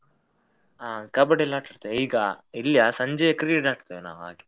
ಹಾ Kabaddi ಎಲ್ಲ ಆಟಡ್ತೆ, ಈಗ ಇಲ್ಲಿಯ ಸಂಜೆ Cricket ಆಡ್ತೇವೆ ನಾವ್ ಹಾಗೆ.